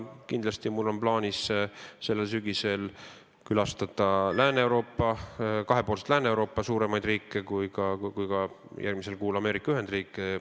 Kindlasti on mul plaanis sellel sügisel külastada nii Lääne-Euroopa suuremaid riike kui ka järgmisel kuul Ameerika Ühendriike.